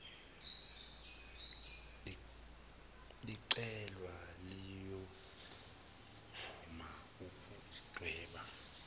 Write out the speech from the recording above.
licelwa liyovuma ukudweba